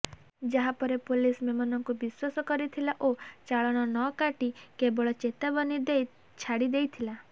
ଯାହା ପରେ ପୋଲିସ ମେମନଙ୍କୁ ବିଶ୍ବାସ କରିଥିଲା ଓ ଚାଳଣ ନକାଟି କେବଳ ଚେତାବନୀ ଦେଇ ଛାଡିଦେଇଥିଲା